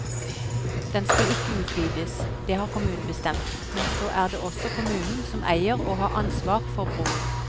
Den skal ikke utvides, det har kommunen bestemt, men så er det også kommunen som eier og har ansvar for broen.